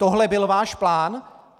Tohle byl váš plán?